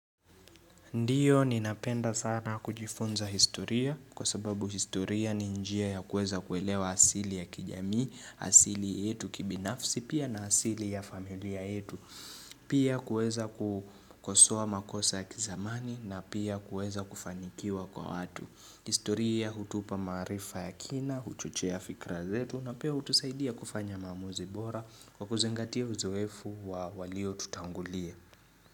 Ndio ninapenda sana kujifunza historia kwa sababu historia ni njia ya kuweza kuelewa asili ya kijamii, asili yetu kibinafsi pia na asili ya familia yetu. Pia kuweza kukosoa makosa ya kizamani na pia kuweza kufanikiwa kwa watu. Historia hutupa maarifa ya kina, huchochea fikra zetu na pia hutusaidia kufanya maamuzi bora kwa kuzingatia uzoefu wa waliotutangulia.